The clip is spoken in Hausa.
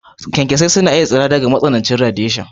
kyankyasai na iya tsira daga matsanancin yanayi, gami da radiation.